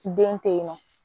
Den tɛ yen nɔ